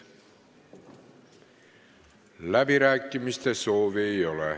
Läbirääkimiste soovi ei ole.